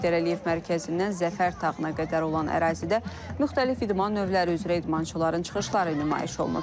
Heydər Əliyev mərkəzindən Zəfər Tağına qədər olan ərazidə müxtəlif idman növləri üzrə idmançıların çıxışları nümayiş olunub.